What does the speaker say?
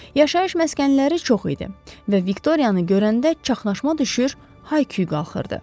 Yaşayış məskənləri çox idi və Viktoriyanı görəndə çaxnaşma düşür, hay-küy qalxırdı.